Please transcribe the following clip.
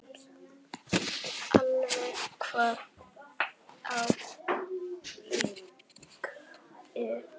Allt hvítt á Akureyri